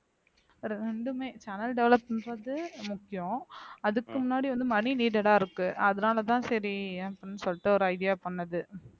ரெண்டுமே channel develop பண்றது முக்கியம் அதுக்கு முன்னாடி வந்து money needed ஆ இருக்கு அதனாலதான் சரி அப்படின்னு சொல்லிட்டு ஒரு idea பண்ணது